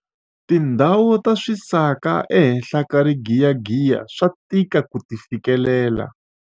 tindhawu ta swisaka ehenhla ka rigiyagiya swa tika ku ti fikelela